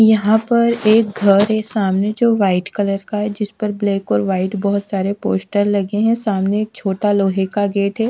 यहां पर एक घर है सामने जो वाइट कलर का है जिस पर ब्लैक और व्हाइट बहोत सारे पोस्टर लगे हैं सामने छोटा लोहे का गेट है।